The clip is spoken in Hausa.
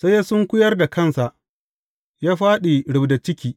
Sai ya sunkuyar da kansa, ya fāɗi rubda ciki.